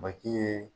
Baji ye